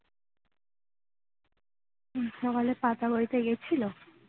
হম সকালে পাতা বইতে গেছিলো